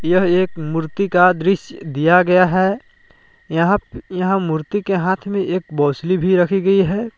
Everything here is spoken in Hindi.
यह एक मूर्ति का दृश्य दिया गया है यहां यहां मूर्ति के हाथ में एक भी रखी गई है।